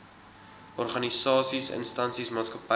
organisasies instansies maatskappye